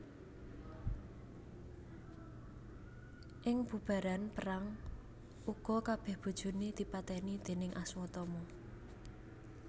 Ing bubaran perang uga kabèh bojoné dipatèni déning Aswatama